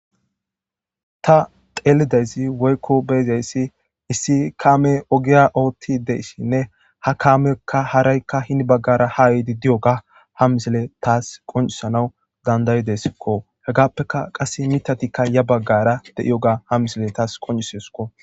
Ta teelidaysi woykko beyzayssi issi kaame ogiya ootti deyssinne ha kaamekka haraykka hini baggara haa yiidi diyo ga ha misile taas qoncisanaw dandayideskko hegappeka qase mitatikka ya baggara de7iyoga ha misile taas qonciseskko.